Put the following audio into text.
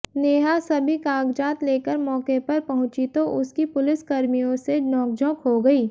नेहा सभी कागजात लेकर मौके पर पहुंची तो उसकी पुलिसकर्मियों से नोकझोंक हो गई